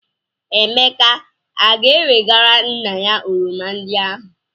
Emeka a ga-ewegara nna ya oroma ndị ahụ?